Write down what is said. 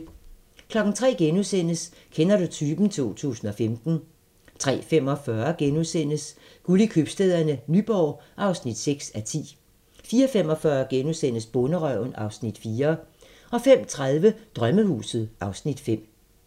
03:00: Kender du typen? 2015 * 03:45: Guld i Købstæderne - Nyborg (6:10)* 04:45: Bonderøven (Afs. 4)* 05:30: Drømmehuset (Afs. 5)